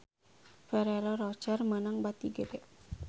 Ferrero Rocher meunang bati gede